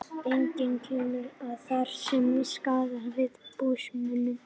Einkum gerðist það, þar sem skarðast var um búsmuni.